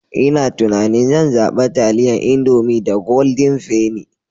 Ina tunanin zan zaɓa taliyan Indomie da Golden penny.